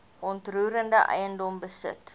onroerende eiendom besit